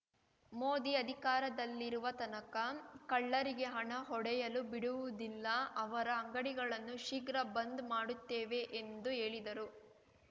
ಮೋದಿ ಅಧಿಕಾರದಲ್ಲಿರುವ ತನಕ ಕಳ್ಳರಿಗೆ ಹಣ ಹೊಡೆಯಲು ಬಿಡುವುದಿಲ್ಲ ಅವರ ಅಂಗಡಿಗಳನ್ನು ಶೀಘ್ರ ಬಂದ್ ಮಾಡುತ್ತೇವೆ ಎಂದು ಹೇಳಿದರು